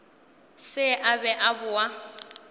se a be a boa